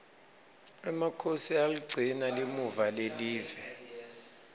emakhosi ayaligcina limuva lelive